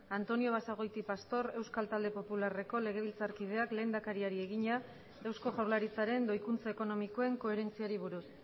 antonio basagoiti pastor euskal talde popularreko legebiltzarkideak lehendakariari egina eusko jaurlaritzaren doikuntza ekonomikoen koherentziari buruz